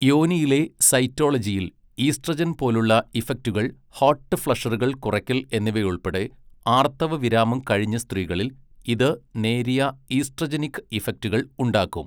യോനിയിലെ സൈറ്റോളജിയിൽ ഈസ്ട്രജൻ പോലുള്ള ഇഫക്റ്റുകൾ ഹോട്ട് ഫ്ലഷറുകൾ കുറയ്ക്കൽ എന്നിവയുൾപ്പെടെ ആർത്തവവിരാമം കഴിഞ്ഞ സ്ത്രീകളിൽ ഇത് നേരിയ ഈസ്ട്രജനിക് ഇഫക്റ്റുകൾ ഉണ്ടാക്കും.